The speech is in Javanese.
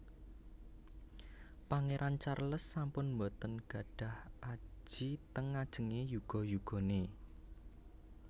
Pangeran Charles sampun mboten nggadhah aji teng ngajenge yuga yugane